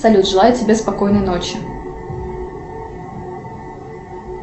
салют желаю тебе спокойной ночи